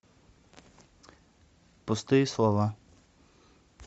пустые слова